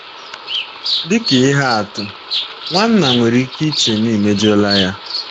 Dị ka ihe atụ, nwanna nwere ike iche na i mejọla ya.